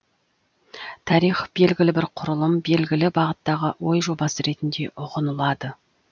тарих белгілі бір құрылым белгілі бағыттағы ой жобасы ретінде үғынылады